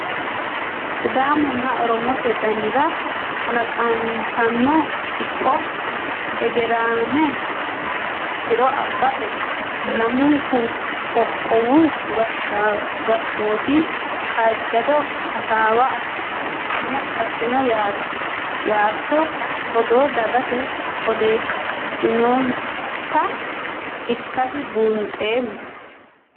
Sidaamunna oromote dannira kalaqantanno kipho hegerame tiro abbate lamunku qoqqowu gashshooti kaajjado hasaawa assino ytano odoo dagate odeessinonitta ikkase buuxoommo.